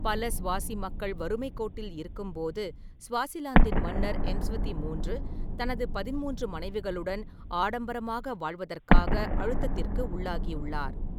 பல ஸ்வாசி மக்கள் வறுமைக் கோட்டில் இருக்கும்போது, ​​ஸ்வாசிலாந்தின் மன்னர், எம்ஸ்வதி மூன்று , தனது பதின்மூன்று மனைவிகளுடன் ஆடம்பரமாக வாழ்வதற்காக அழுத்தத்திற்கு உள்ளாகியுள்ளார்.